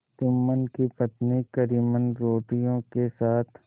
जुम्मन की पत्नी करीमन रोटियों के साथ